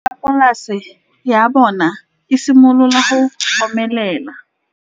Nokana ya polase ya bona, e simolola go omelela.